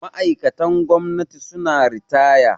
Ma'aikatan gwamnati suna ritaya